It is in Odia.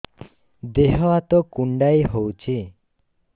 ଦେହ ହାତ କୁଣ୍ଡାଇ ହଉଛି